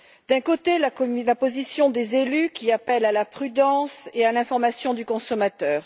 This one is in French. D'un côté, la position des élus, qui appellent à la prudence et à l'information du consommateur.